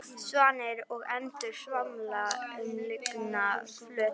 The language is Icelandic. Svanir og endur svamla um lygnan flötinn.